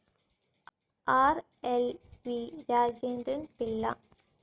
R. L. V. Rajendran Pillai